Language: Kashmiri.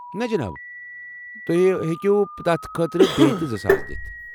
نَہ، جناب، تُہۍ ہٮ۪کو تتھ خٲطرٕ بیٚیہ تہِ زٕ ساس دِتھ۔